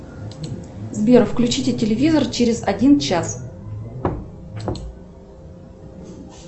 сбер включите телевизор через один час